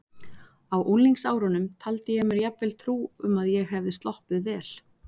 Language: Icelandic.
Á unglingsárunum taldi ég mér jafnvel trú um að ég hefði sloppið vel.